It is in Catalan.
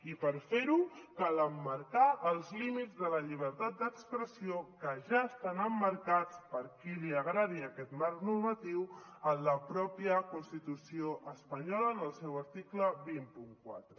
i per fer ho cal emmarcar els límits de la llibertat d’expressió que ja estan emmarcats per a qui li agradi aquest marc normatiu en la mateixa constitució espanyola en el seu article dos cents i quatre